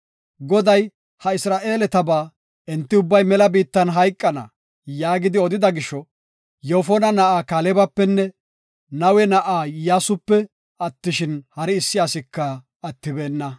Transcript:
Goday ha Isra7eeletaba, “Enti ubbay mela biittan hayqana” yaagidi odida gisho, Yoofona na7aa Kaalebapenne Nawe na7aa Iyyasupe attishin, hari issi asika attibeenna.